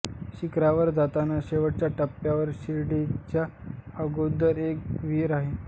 शिखरावर जाताना शेवटच्या टप्प्यावर शिडीच्या अगोदर एक विहीर आहे